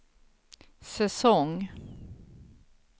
säsong